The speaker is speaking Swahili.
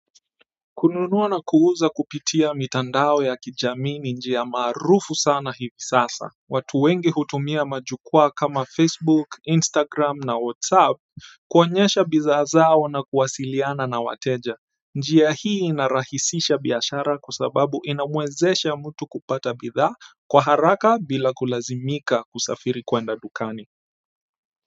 Kununuwa na kuuza kupitia mitandao ya kijamii ni njia maarufu sana hivi sasa. Watu wengi hutumia majukwaa kama Facebook, Instagram na Whatsapp kuonyesha bidhaa zao na kuwasiliana na wateja. Njia hii inarahisisha biashara kwa sababu inamwezesha mtu kupata bidhaa kwa haraka bila kulazimika kusafiri kwenda dukani.